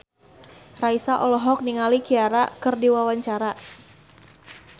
Raisa olohok ningali Ciara keur diwawancara